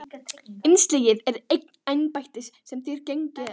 LÁRUS: Innsiglið er eign embættis sem þér gegnið ekki.